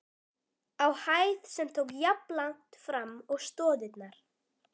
á hæð, sem tók jafnlangt fram og stoðirnar.